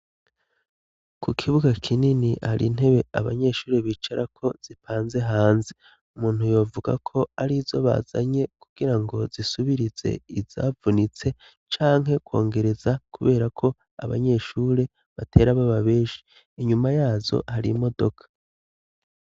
Ku kibuga kinini har'intebe abanyeshuri bicarako zipanze hanze, umuntu yovugako arizo bazanye kugira ngo zisubirize izavunitse canke kongereza kubera ko abanyeshure batera baba benshi, inyuma yazo har'imodoka.